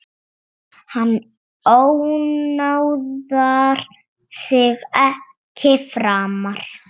Hann ónáðar þig ekki framar.